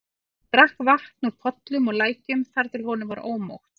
Hann drakk vatn úr pollum og lækjum þar til honum varð ómótt.